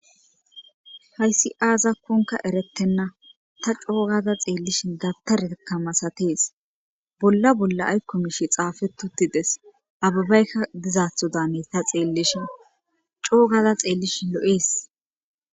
hayssi aazakkonka erettenna ta coogada xeellishi gabtarekka masatees bolla bolla aykkomishi xaafetotides ababaykka dizaatho daane ta xeellishin coogada xeellishi lo7ees